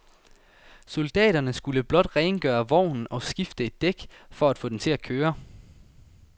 Soldaterne skulle blot rengøre vognen og skifte et dæk for at få den til at køre.